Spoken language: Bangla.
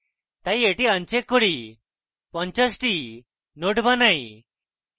তাই এটি uncheck করি 50 টি nodes বানাই